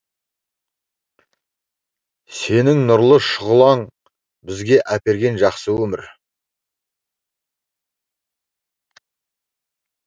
сенің нұрлы шұғылаң бізге әперген жақсы өмір